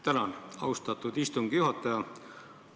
Tänan, austatud istungi juhataja!